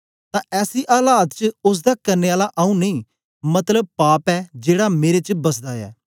तां ऐसी आलात च ओसदा करने आला आंऊँ नेई मतलब पाप ऐ जेड़ा मेरे च बसदा ऐ